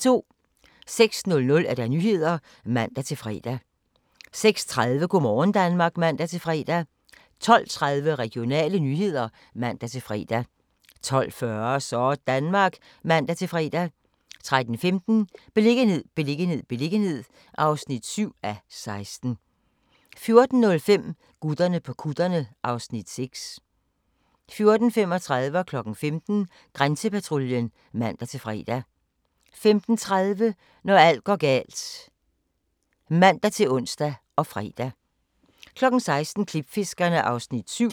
06:00: Nyhederne (man-fre) 06:30: Go' morgen Danmark (man-fre) 12:30: Regionale nyheder (man-fre) 12:40: Sådanmark (man-fre) 13:15: Beliggenhed, beliggenhed, beliggenhed (7:16) 14:05: Gutterne på kutterne (Afs. 6) 14:35: Grænsepatruljen (man-fre) 15:00: Grænsepatruljen (man-fre) 15:30: Når alt går galt (man-ons og fre) 16:00: Klipfiskerne (Afs. 7)